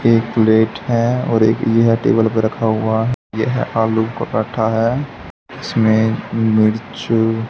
एक प्लेट है और एक यह टेबल पे रखा हुआ है यह आलू पराठा है इसमें मिर्च--